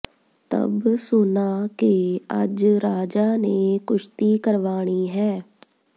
ਤਬ ਸੁਨਾ ਕਿ ਅੱਜ ਰਾਜਾ ਨੇ ਕੁਸ਼ਤੀ ਕਰਵਾਣੀ ਹੈ